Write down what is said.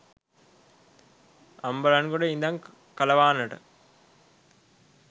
අම්බලන්ගොඩ ඉඳං කලවානට